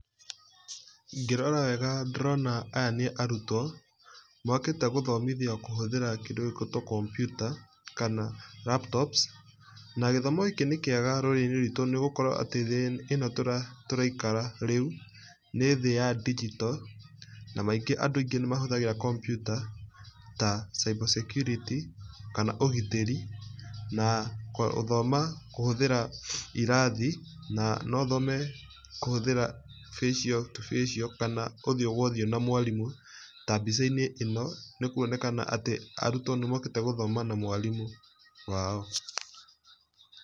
Ngĩrora wega ndĩrona aya nĩ arutwo mokĩte gũthomithio kũhũthĩra kĩndũ gĩgwĩtwo kompiuta kana laptops. Na gĩthomo gĩkĩ nĩ kĩega rũrĩrĩ-inĩ rwitũ nĩ gũkorwo atĩ thĩ ĩno tũraikara rĩu, nĩ thĩ ya digital, na maingĩ andũ aingĩ nĩ mahũthagĩra kompiuta ta cyber security, kana ũgitĩri na gũthoma kũhũthĩra irathi na no ũthome kũhũthĩra facial to facial kana ũthiũ gwo ũthiũ na mwarimũ ta mbica-inĩ ĩno. Nĩ kuonekana atĩ arutwo nĩmokĩte gũthoma na mwarimũ wao.